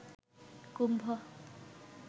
কুম্ভ